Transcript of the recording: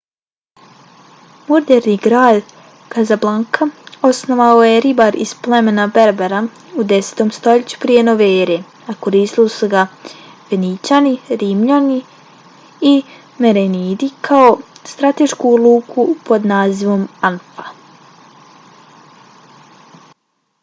moderni grad kazablanka osnovao je ribar iz plemena berbera u 10. stoljeću prije nove ere a koristili su ga fenićani rimljani i merenidi kao stratešku luku pod nazivom anfa